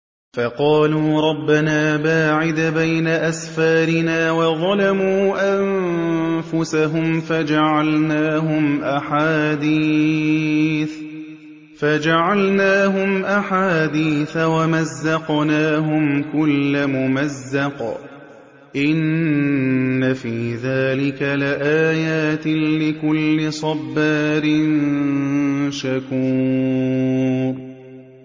فَقَالُوا رَبَّنَا بَاعِدْ بَيْنَ أَسْفَارِنَا وَظَلَمُوا أَنفُسَهُمْ فَجَعَلْنَاهُمْ أَحَادِيثَ وَمَزَّقْنَاهُمْ كُلَّ مُمَزَّقٍ ۚ إِنَّ فِي ذَٰلِكَ لَآيَاتٍ لِّكُلِّ صَبَّارٍ شَكُورٍ